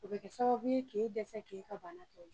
O bɛ kɛ sababu ye k'e dɛsɛ k'e ka banatɔ